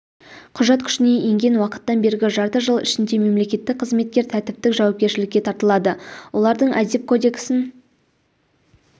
құжат күшіне енген уақыттан бергі жарты жыл ішінде мемлекеттік қызметкер тәртіптік жауапкершілікке тартылды олардың әдеп кодексін